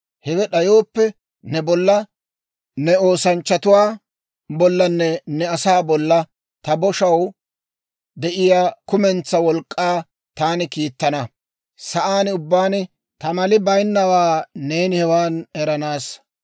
Hewe d'ayooppe, ne bolla, ne oosanchchatuwaa bollanne ne asaa bolla ta boshaw de'iyaa kumentsaa wolk'k'aa taani kiittana; sa'aan ubbaan ta mali baynnawaa neeni hewaan eranaassa.